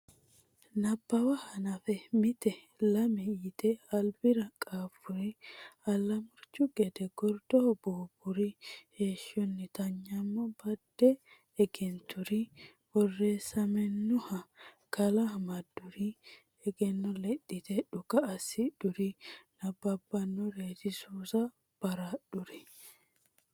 Nabbawa hanaffe mite lame yite albira qaaffuri Allamurchu gede gordoho buubburi Heeshshonnita nyammo badde egenturi Borreessammenniha kala amadduri Egenno lexxite dhuka assidhuri Nabbabbinoreeti suusa baraadhuri.